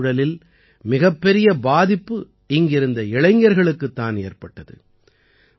இந்தச் சூழலில் மிகப்பெரிய பாதிப்பு இங்கிருந்த இளைஞர்களுக்குத் தான் ஏற்பட்டது